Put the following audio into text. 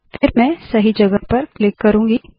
फिर मैं सही जगह पर क्लिक करुँगी